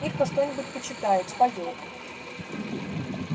ирка что-нибудь почитает споёт